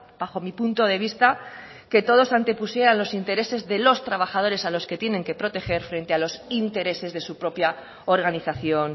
bajo mi punto de vista que todos antepusieran los intereses de los trabajadores a los que tienen que proteger frente a los intereses de su propia organización